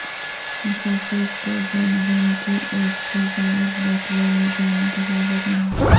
مسافر کو زمزم کی ایک سے زائد بوتلیں لے جانے کی اجازت نہیں